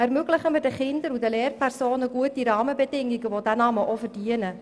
Ermöglichen wir den Kindern und den Lehrpersonen gute Rahmenbedingungen, die diesen Namen verdienen.